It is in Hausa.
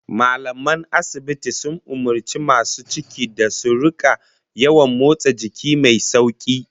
Mallaman asibitin sun umurci masu cikin da su rika yawan motsa jiki mai sauki